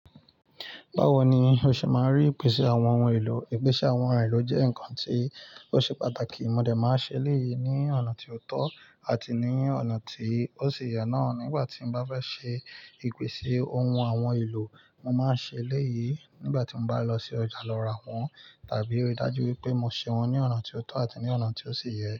Báwo ni o ṣe máa rí ìpèsè àwọn ohun èlò? Ìpèsè àwọn ohun èlò jẹ́ nǹkan tí ó ṣe pàtàkì. Mo dẹ̀ máa ṣe elẹ́yì ní ọ̀nà tí ó tọ́ àti ní ọ̀nà tí ó sì yẹ náà. Nígbà tí mo bá fẹ́ ṣe ìpèsè ohun àwọn ohun èlò, mo máa ṣe elẹ́yì. Nígbà tí mo bá lọ sí ọjà lọ ra wọn, tàbí ríi dájú wípé mo ṣe wọn ní ọ̀nà tí ó tọ́ àti ní ọ̀nà tí ó sì yẹ.